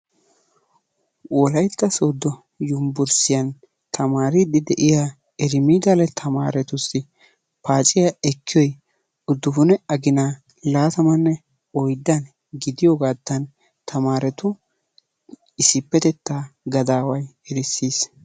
Wolaytta sodo yumburshiyan tamaariiddi diya erimidale tamaaretussi paaciya ekkiyoy uddupune aginaa laatamanee oyddan gidiyoogaattan tamaaretu issippetettaa gadaaway erissis.